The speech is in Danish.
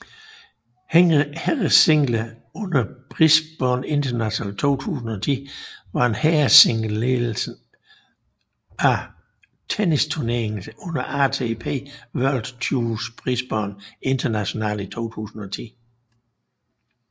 Herresingle under Brisbane International 2010 var herresingledelen af tennisturneringen under ATP World Tours Brisbane International i 2010